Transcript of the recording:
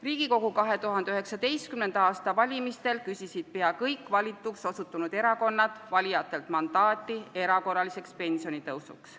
Riigikogu 2019. aasta valimistel küsisid peaaegu kõik valituks osutunud erakonnad valijatelt mandaati erakorraliseks pensionitõusuks.